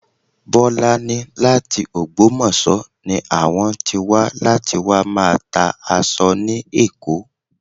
Bọ́lá ní láti ògbómọ̀ṣọ́ ni àwọn tí wà láti wá máa tá aṣọ ni Èkó